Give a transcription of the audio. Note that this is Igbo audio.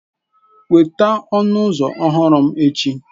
Weta ọnụ ụzọ ọhụrụ m echi.